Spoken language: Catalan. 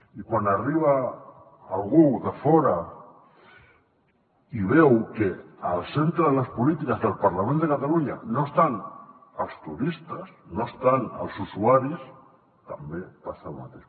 i quan arriba algú de fora i veu que al centre de les polítiques del parlament de catalunya no estan els turistes no estan els usuaris també passa el mateix